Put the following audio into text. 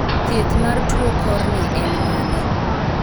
thieth mar tuo kor ni en mane?